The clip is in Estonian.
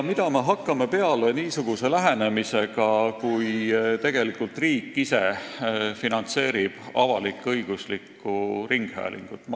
Mida me hakkame peale niisuguse olukorraga, kus riik ise finantseerib avalik-õiguslikku ringhäälingut?